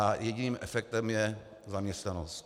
A jediným efektem je zaměstnanost.